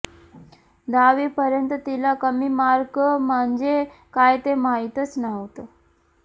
दहावीपर्यंत तिला कमी मार्क म्हणजे काय ते माहीतच नव्हतं